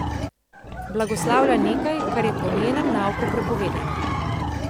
Blagoslavlja nekaj, kar je po njenem nauku prepovedano.